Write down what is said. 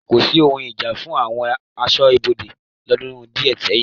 Kòsí ohun ìjà fún àwọn ẹ̀ṣọ́ aṣọ́bodè lọ́dún díẹ̀ sẹ́yìn.